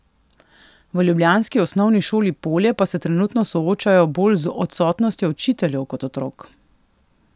V ljubljanski Osnovni šoli Polje pa se trenutno soočajo bolj z odsotnostjo učiteljev kot otrok.